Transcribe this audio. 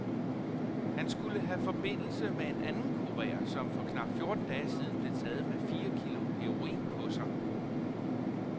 Han skulle have forbindelse med en anden kurer, som for knap fjorten dage siden blev taget med fire kilo heroin på sig.